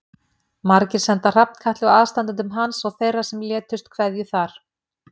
Margir senda Hrafnkatli og aðstandendum hans og þeirra sem létust kveðju þar.